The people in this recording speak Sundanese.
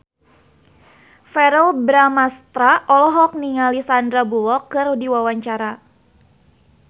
Verrell Bramastra olohok ningali Sandar Bullock keur diwawancara